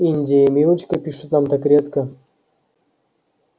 индия и милочка пишут там так редко